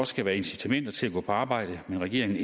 skal være incitamenter til at gå på arbejde men regeringen